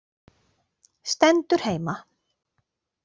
Stendur heima!